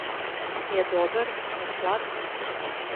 Je dober, je slab?